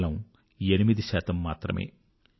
కేవలం 8 మాత్రమే